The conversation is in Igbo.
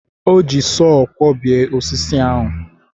O ji sọọ kwọbie osisi ahụ.